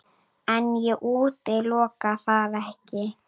En ég útiloka það ekki.